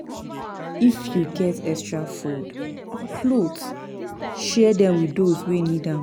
If yu get extra food or clothes, share dem with dose wey nid am.